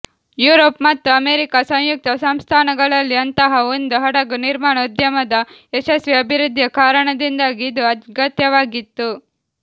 Europe ಮತ್ತು America ಸಂಯುಕ್ತ ಸಂಸ್ಥಾನಗಳಲ್ಲಿ ಅಂತಹ ಒಂದು ಹಡಗು ನಿರ್ಮಾಣ ಉದ್ಯಮದ ಯಶಸ್ವಿ ಅಭಿವೃದ್ಧಿಯ ಕಾರಣದಿಂದಾಗಿ ಇದು ಅಗತ್ಯವಾಗಿತ್ತು